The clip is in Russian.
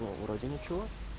вроде ничего